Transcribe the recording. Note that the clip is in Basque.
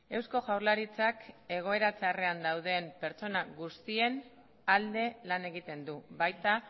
eusko jaurlaritzak egoera txarrean dauden pertsona guztien alde lan egiten du baita